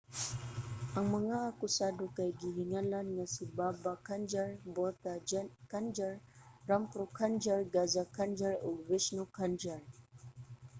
ang mga akusado kay gihinganlan nga si baba kanjar bhutha kanjar rampro kanjar gaza kanjar ug vishnu kanjar